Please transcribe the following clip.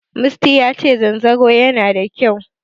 Musty yace zanzaro yana da kyau.